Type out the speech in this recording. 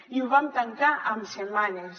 i ho vam tancar en setmanes